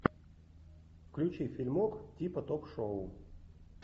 включи фильмок типа ток шоу